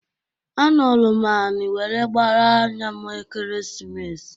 Anọlụ m anị were gbaara anya m Ekeresimesi.